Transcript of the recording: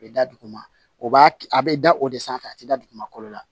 A bɛ da duguma o b'a kɛ a bɛ da o de sanfɛ a tɛ da dugumakolo la